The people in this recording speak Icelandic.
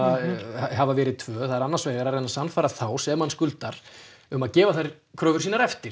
hafa verið tvö annars vegar að reyna að sannfæra þá sem hann skuldar um að gefa þær kröfur eftir